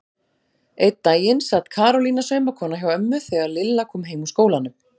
Einn daginn sat Karólína saumakona hjá ömmu þegar Lilla kom heim úr skólanum.